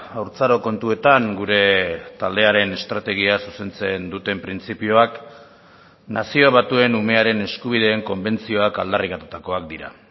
haurtzaro kontuetan gure taldearen estrategia zuzentzen duten printzipioak nazio batuen umearen eskubideen konbentzioak aldarrikatutakoak dira